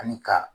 Ani ka